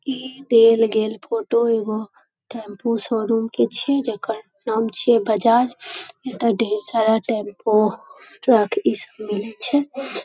ई देल गेल फोटो एगो टेंपू शोरूम के छिये जकर नाम छीये बजाज एता ढेर सारा टेंपू ट्रक स्कूल छीये ।